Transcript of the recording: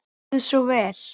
Gjörið svo vel!